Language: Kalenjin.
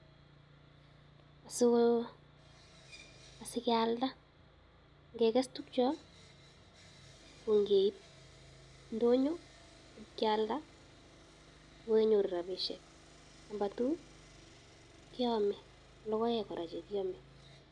Sogo, asikealda. Ngeges tukyo ko ngeib ndonyo ibkealdo ko onyoru rabisiek. Number two keame, logoek kora chekiame.